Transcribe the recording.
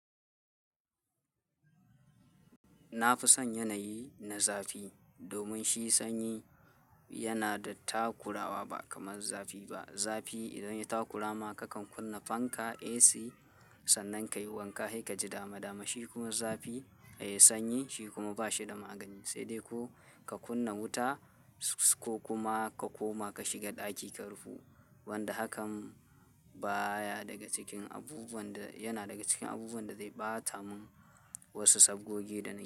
Na fi son yanayi na zafi, domin shi sanyi yana da takurawa ba kamar zafi ba. Zafi idan ya takurama, kakan kunna fanka, AC, sannan kayi wanka, sai ka ji dama-dama. Shi kuma zafi, eh, sanyi shi kuma ba shi da magani, sai dai ko ka kunna wuta ko kuma ka koma ka shiga ɗaki ka rufu. Wanda hakan baya daga cikin abubuwan da, yana daga cikin abubuwan da zai ɓata mun wasu sabgogi da nake yi.